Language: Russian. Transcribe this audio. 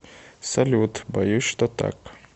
салют боюсь что так